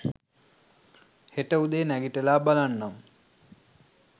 හෙට උදේ නැගිටලා බලන්නම්